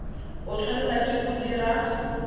o tshwanela ke go dira